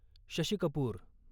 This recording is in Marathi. शशी कपूर